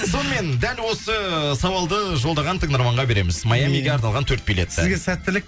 сонымен дәл осы сауалды жолдаған тыңдарманға береміз майамиге арналған төрт билетті сізге сәттілік